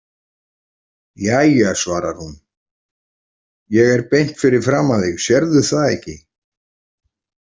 Jæja, svarar hún, ég er beint fyrir framan þig, sérðu það ekki?